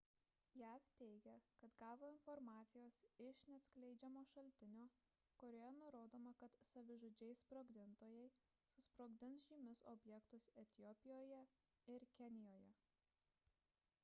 jav teigia kad gavo informacijos iš neatskleidžiamo šaltinio kurioje nurodoma kad savižudžiai sprogdintojai susprogdins žymius objektus etiopijoje ir kenijoje